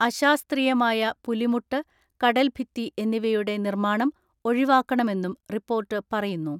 അശാസ്ത്രീയമായ പുലിമുട്ട്, കടൽ ഭിത്തി എന്നിവയുടെ നിർമ്മാണം ഒഴിവാക്കണമെന്നും റിപ്പോർട്ട് പറയുന്നു.